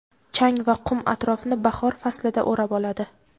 chang va qum atrofni bahor faslida o‘rab oladi.